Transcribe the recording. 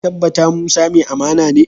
Kun tabbata Musa mai amana ne?